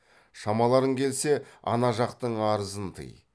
шамаларың келсе ана жақтың арызын тый